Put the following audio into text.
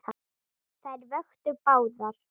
Þær vöktu báðar.